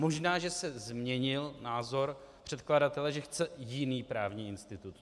Možná že se změnil názor předkladatel, že chce jiný právní institut.